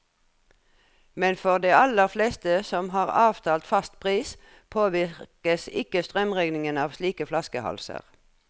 Men for de aller fleste, som har avtalt fast pris, påvirkes ikke strømregningen av slike flaskehalser.